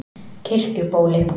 Kirkjubóli